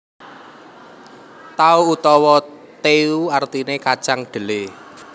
Tao utawa teu artiné kacang dhelé